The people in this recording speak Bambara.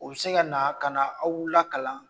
u bi se ka na ka n'aw lakalan.